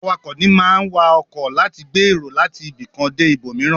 Awakọ̀ ní máa ń wa ọkọ láti gbé èrò láti ibìkan dé ibòmìíràn.